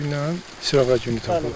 Dünən sırağa günü tapılıb.